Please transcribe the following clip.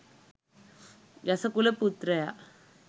යස කුල පුත්‍රයා,